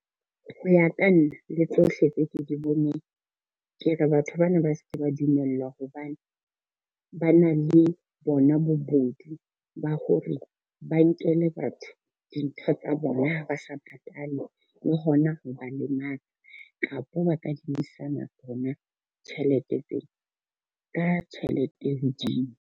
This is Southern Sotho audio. Ho ya ka nna le tsohle tse ke di boneng. Ke re batho bana ba ske ba dumellwa hobane, ba na le bona bobodu ba ho re ba nkele batho dintho tsa bona ha ba sa patale le hona ho ba lematsa, kapa ba kadimisana bona tjhelete tsena ka tjhelete e hodimo.